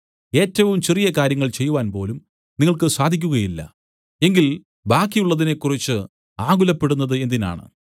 ഏറ്റവും ചെറിയ കാര്യങ്ങൾ ചെയ്യുവാൻ പോലും നിങ്ങൾക്ക് സാധിക്കുകയില്ല എങ്കിൽ ബാക്കി ഉള്ളതിനെക്കുറിച്ച് ആകുലപ്പെടുന്നത് എന്തിനാണ്